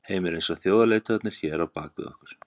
Heimir: Eins og þjóðarleiðtogarnir hér á bak við okkur?